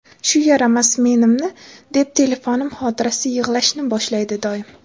shu yaramas "men" imni deb telefonim xotirasi yig‘lashni boshlaydi doim.